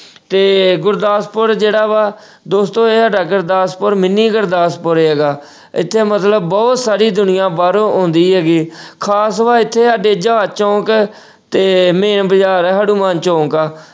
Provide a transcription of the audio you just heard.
ਤੇ ਗੁਰਦਾਸਪੁਰ ਜਿਹੜਾ ਵਾ ਦੋਸਤੋ ਇਹ ਸਾਡਾ ਗੁਰਦਾਸਪੁਰ mini ਗੁਰਦਾਸਪੁਰ ਹੈਗਾ ਇੱਥੇ ਮਤਲਬ ਬਹੁਤ ਸਾਰੀ ਦੁਨੀਆਂ ਬਾਹਰੋਂ ਆਉਂਦੀ ਹੈਗੀ ਖ਼ਾਸ ਵਾ ਇੱਥੇ ਸਾਡੇ ਜਹਾਜ਼ ਚੌਂਕ ਹੈ ਤੇ main ਬਾਜ਼ਾਰ ਹੈ ਹਨੂੰਮਾਨ ਚੌਂਕ ਆਂ।